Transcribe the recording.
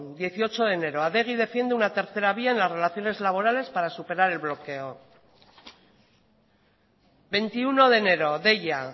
dieciocho de enero adegi defiende una tercera vía en las relaciones laborales para superar el bloqueo veintiuno de enero deia